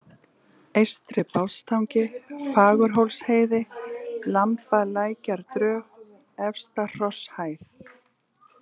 Eystri-Bátstangi, Fagurhólsheiði, Lambalækjardrög, Efsta-Hrosshæð